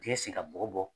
Dingɛ sen ka bɔgɔ bɔ